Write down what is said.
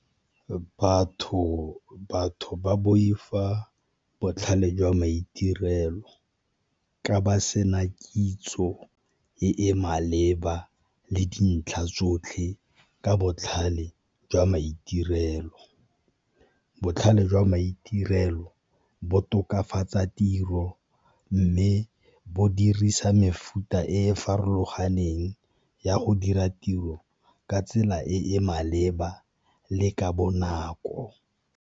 Batho ba boifa botlhale jwa maitirelo ka ba sena kitso e e maleba le dintlha tsotlhe ka botlhale jwa maitirelo, botlhale jwa maitirelo bo tokafatsa tiro mme bo dirisa mefuta e farologaneng ya go dira tiro ka tsela e e maleba le ka bonako.